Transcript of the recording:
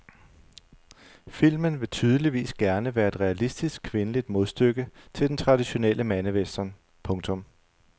Filmen vil tydeligvis gerne være et realistisk kvindeligt modstykke til den traditionelle mandewestern. punktum